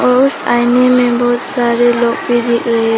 और उस आईने मे बहुत सारे लोग भी दिख रहे--